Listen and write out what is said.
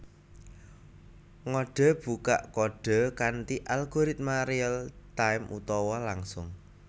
Ngodhe bukak kodhe kanthi algoritma real time utawa langsung